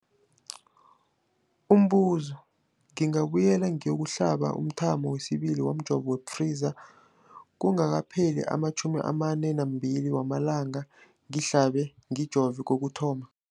Umbuzo, ngingabuyela ngiyokuhlaba umthamo wesibili womjovo we-Pfizer kungakapheli ama-42 wamalanga ngihlabe, ngijove kokuthoma.